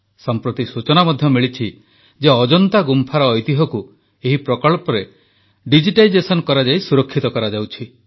ସମ୍ପ୍ରତି ସୂଚନା ମଧ୍ୟ ମିଳିଛି ଯେ ଅଜନ୍ତା ଗୁମ୍ଫାର ଐତିହ୍ୟକୁ ଏହି ପ୍ରକଳ୍ପରେ ଡିଜିଟାଇଜେସନ୍ କରାଯାଇ ସୁରକ୍ଷିତ କରାଯାଉଛି